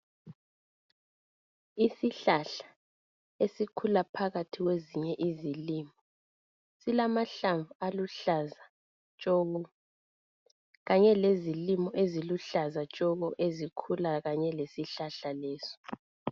Isihlahla esikhula phakathi kwezinye izilimo silamahlamvu aluhlaza tshoko kanye lezilimo eziluhlaza tshoko esikhula lesihlahla lesi.